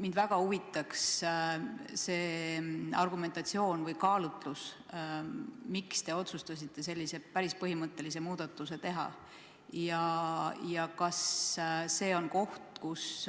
Mind väga huvitab see argumentatsioon või kaalutlus, miks te otsustasite sellise päris põhimõttelise muudatuse teha ja kas see on koht, kus